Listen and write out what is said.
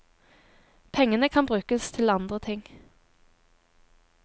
Pengene kan brukes til andre ting.